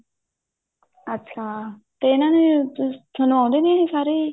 ਅੱਛਾ ਤੇ ਇਹਨਾ ਨੇ ਤੁਹਾਨੂੰ ਆਉਂਦੇ ਨੇ ਸਾਰੇ